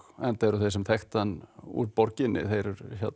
enda eru þeir sem þekktu hann úr borginni þeir